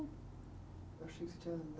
Eu achei que você tinha